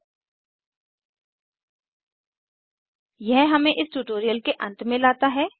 httpspoken tutorialorgNMEICT Intro यह हमें इस ट्यूटोरियल के अंत में लाता है